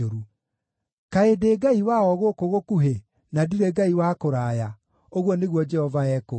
“Kaĩ ndĩ Ngai wa o gũkũ gũkuhĩ, na ndirĩ Ngai wa kũraya?” ũguo nĩguo Jehova ekũũria.